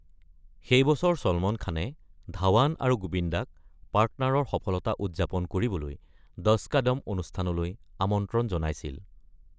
সেই বছৰ চলমন খানে ধবন আৰু গোবিন্দাক অংশীদাৰ ৰ সফলতা উদযাপন কৰিবলৈ ১০ কা দম অনুষ্ঠানলৈ আমন্ত্ৰণ জনাইছিল।